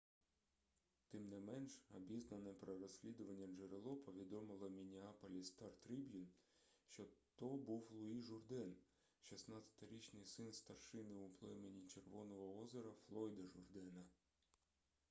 тим не менш обізнане про розслідування джерело повідомило міннеаполіс стар-трібун що то був луї журден 16-річний син старшини у племені червоного озера флойда журдена